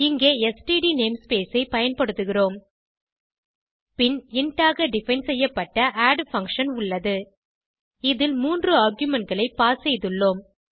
இங்கே std namespace ஐ பயன்படுத்துகிறோம் பின் இன்ட் ஆக டிஃபைன் செய்யப்பட்ட ஆட் பங்ஷன் உள்ளது இதில் மூன்று argumentகளை பாஸ் செய்துள்ளோம்